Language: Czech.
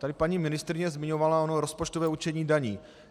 Tady paní ministryně zmiňovala ono rozpočtového určení daní.